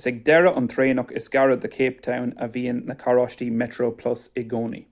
is ag deireadh an traenach is gaire do cape town a bhíonn na carráistí metroplus i gcónaí